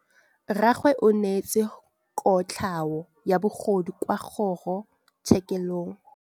Rragwe o neetswe kotlhaô ya bogodu kwa kgoro tshêkêlông.